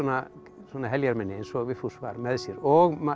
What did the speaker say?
svona heljarmenni eins og Vigfús var með sér og